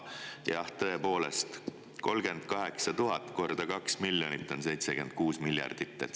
Jah, tõepoolest 38 000 korda 2 miljonit on 76 miljardit.